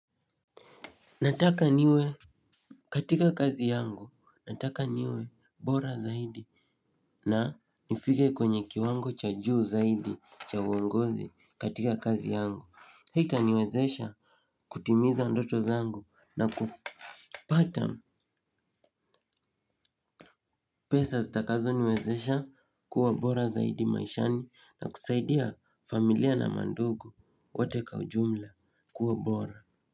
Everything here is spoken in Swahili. Nataka niwe katika kazi yangu, nataka niwe bora zaidi na nifike kwenye kiwango cha juu zaidi cha uongozi katika kazi yangu. Hi itaniwezesha kutimiza ndoto zaangu na kupata pesa zitakazo niwezesha kuwa bora zaidi maishani na kusaidia familia na mandugu wote kwaujumla kuwa bora.